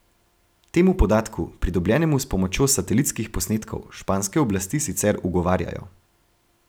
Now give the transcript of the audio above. Temu podatku, pridobljenemu s pomočjo satelitskih posnetkov, španske oblasti sicer ugovarjajo.